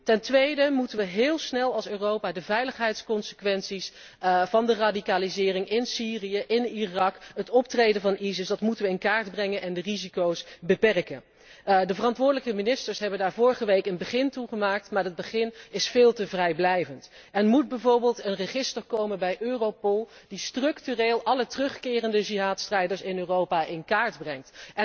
Ten tweede moeten wij als Europa heel snel de veiligheidsconsequenties van de radicalisering in Syrië, in Irak, het optreden van ISIS, in kaart brengen en de risico's beperken. De verantwoordelijke ministers hebben daar vorige week een begin mee gemaakt, maar dat begin is veel te vrijblijvend. Er moet bijvoorbeeld een register komen bij Europol dat structureel alle terugkerende Jihadstrijders in Europa in kaart brengt.